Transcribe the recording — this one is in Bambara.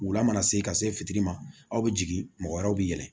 Wula mana se ka se fitiri ma aw bɛ jigin mɔgɔ wɛrɛw bɛ yɛlɛ